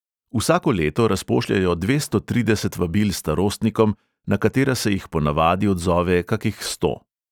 Vsako leto razpošljejo dvesto trideset vabil starostnikom, na katera se jih po navadi odzove kakih sto.